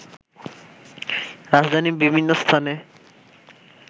রাজধানীর বিভিন্ন স্থানে